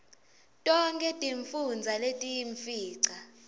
tonkhe tifundza letiyimfica